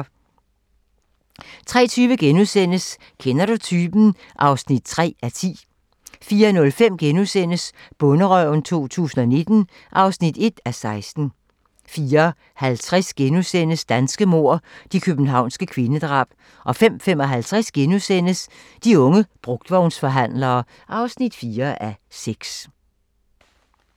03:20: Kender du typen? (3:10)* 04:05: Bonderøven 2019 (1:16)* 04:50: Danske mord - De københavnske kvindedrab * 05:55: De unge brugtvognsforhandlere (4:6)*